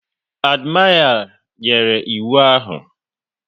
Admiré nyere iwu ahụ